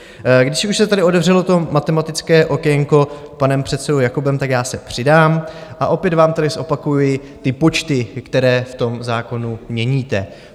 Když už se tady otevřelo to matematické okénko panem předsedou Jakobem, tak já se přidám, a opět vám tady zopakuji ty počty, které v tom zákonu měníte.